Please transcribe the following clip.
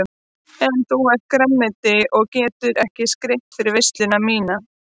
En þú ert grænmeti og getur ekki skreytt fyrir veisluna MÍNA.